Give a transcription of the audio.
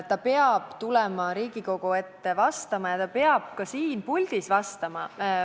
Ta peab tulema Riigikogu ette vastama ja ta peab ka siin puldis vastama.